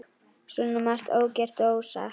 Svo margt ógert og ósagt.